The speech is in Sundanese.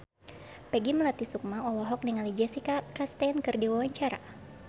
Peggy Melati Sukma olohok ningali Jessica Chastain keur diwawancara